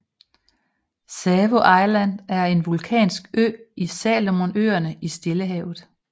Savo Island er en vulkansk ø i Salomonøerne i Stillehavet